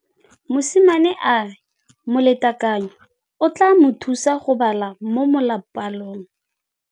Mosimane a re molatekanyô o tla mo thusa go bala mo molapalong.